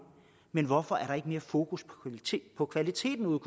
men hvorfor er der ikke mere fokus på kvaliteten ude